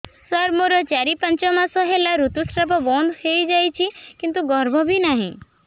ସାର ମୋର ଚାରି ପାଞ୍ଚ ମାସ ହେଲା ଋତୁସ୍ରାବ ବନ୍ଦ ହେଇଯାଇଛି କିନ୍ତୁ ଗର୍ଭ ବି ନାହିଁ